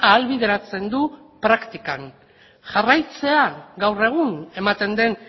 ahalbideratzen du praktikan jarraitzea gaur egun ematen den